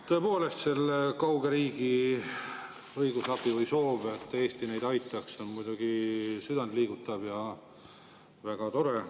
Tõepoolest, selle kauge riigi õigusabi või soov, et Eesti neid aitaks, on muidugi südantliigutav ja väga tore.